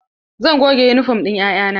Zan goge yunifom ɗin 'ya'ya na.